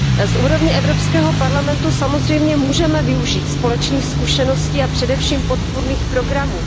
Z úrovně Evropského parlamentu samozřejmě můžeme využít společných zkušeností a především podpůrných programů.